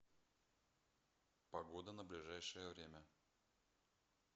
погода на ближайшее время